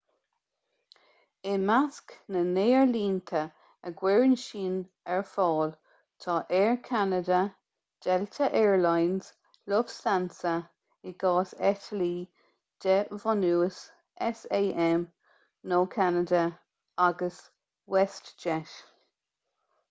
i measc na n-aerlínte a gcuireann siad sin ar fáil tá air canada delta air lines lufthansa i gcás eitiltí de bhunús sam nó ceanada agus westjet